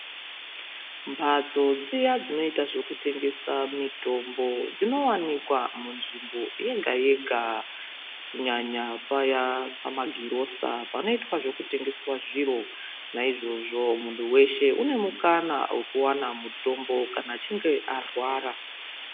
Mphatso dziya dzinoita zvekutengesa mitombo dzinowanikwa munzvimbo yega yega ,kunyanya paya pamagirosa panoitwa zvekutengeswa zviro. Naizvozvo muntu weshe unemukana wekuwana mutombo kana achinge arwara.